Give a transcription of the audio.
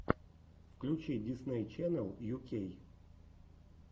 включи дисней ченнел ю кей